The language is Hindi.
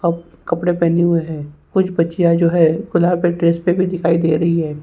अब कपड़े पहने हुए हैं कुछ बच्चियां जो है दिखाई दे रही है।